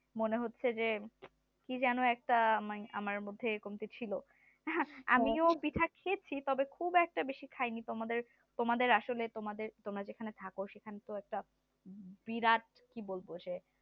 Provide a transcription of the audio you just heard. মনে হচ্ছে যে কি যেন একটা আমার মধ্যে একটা কমতি ছিল আহ আমিও পিঠা খেয়েছি তবে খুব একটা বেশি খাইনি তোমাদের আসলে তোমাদের তোমরা যেখানে থাকো সেখানে তো একটা বিরাট কি বলবো সে